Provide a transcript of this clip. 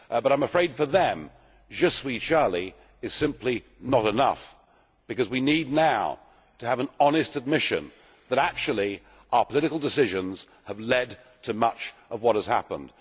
but I am afraid, for them, Je suis Charlie' is simply not enough, because we need now to have an honest admission that, actually, our political decisions have led to much of what has happened.